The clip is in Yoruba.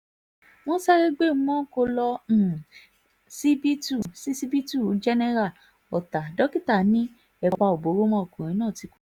wọ́n sáré gbé umonko lọ um ṣíbítù ṣíṣíbítù jenera ọ̀tá dókítà ni ẹ̀pà ò bóró mọ́ ọkùnrin náà ti kú